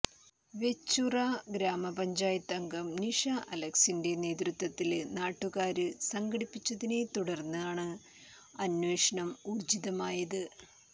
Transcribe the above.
വെച്ചൂച്ചിറ ഗ്രാമപഞ്ചായത്തംഗം നിഷാ അലക്സിന്റെ നേതൃത്വത്തില് നാട്ടുകാര് സംഘടിച്ചതിനെത്തുടര്ന്നാണ് അനേ്വഷണം ഊര്ജിതമായത്